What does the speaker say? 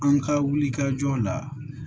An ka wuli ka jɔ la